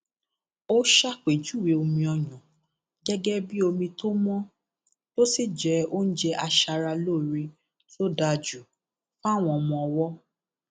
ó ṣàpèjúwe omi ọyàn gẹgẹ bíi omi tó mọ tó sì jẹ oúnjẹ aṣaralóore tó dáa jù fáwọn ọmọ ọwọ